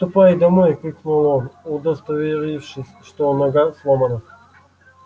ступай домой крикнул он удостоверившись что нога сломана